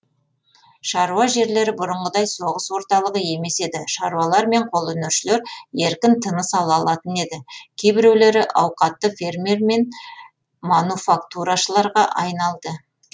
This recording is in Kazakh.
шаруа жерлері бұрынғыдай соғыс орталығы емес еді шаруалар мен қолөнершілер еркін тыныс ала алатын еді кейбіреулері ауқатты фермер мен мануфактурашыларға айналды